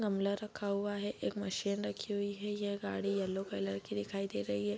गमला रखा हुआ है एक मशीन रखी हुई है ये गाड़ी येलो कलर की दिखाई दे रही है।